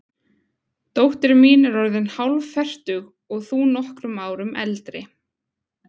Dóttir mín er orðin hálffertug og þú nokkrum árum eldri.